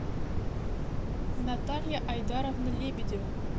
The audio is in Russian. наталья айдаровна лебедева